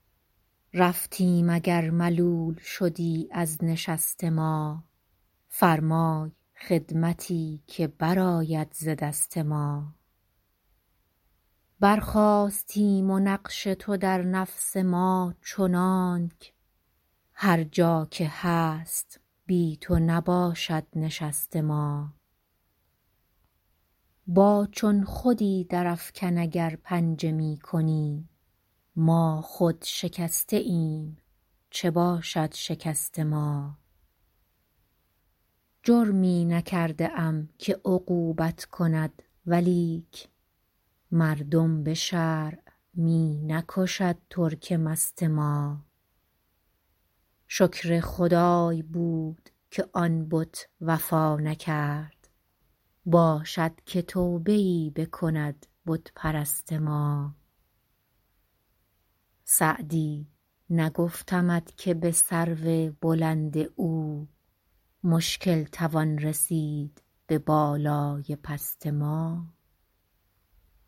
رفتیم اگر ملول شدی از نشست ما فرمای خدمتی که برآید ز دست ما برخاستیم و نقش تو در نفس ما چنانک هر جا که هست بی تو نباشد نشست ما با چون خودی درافکن اگر پنجه می کنی ما خود شکسته ایم چه باشد شکست ما جرمی نکرده ام که عقوبت کند ولیک مردم به شرع می نکشد ترک مست ما شکر خدای بود که آن بت وفا نکرد باشد که توبه ای بکند بت پرست ما سعدی نگفتمت که به سرو بلند او مشکل توان رسید به بالای پست ما